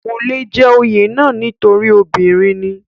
kò le jẹ́ oyè náà nítorí obìnrin ni